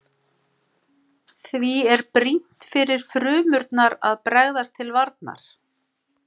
Því er brýnt fyrir frumurnar að bregðast til varnar.